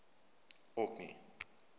orkney